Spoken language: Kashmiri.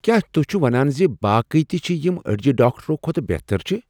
کیا توہہِ چھو ونان زِ باقی تہِ چھِ یِم اڈِجہِ ڈاكٹرو كھوتہٕ بہتر چھِ ؟